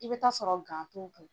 I bi taa sɔrɔ t'u .